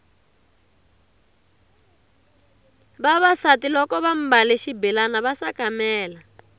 vavasati loko vambale xibelani va sakamela